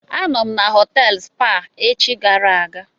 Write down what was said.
A nọọrọ na họtelụ Spa echi gara aga.